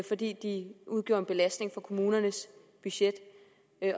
fordi de udgjorde en belastning for kommunernes budgetter